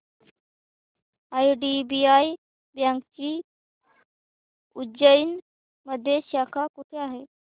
IDBI बँकेची उज्जैन मध्ये शाखा कुठे आहे